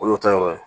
O y'o ta yɔrɔ ye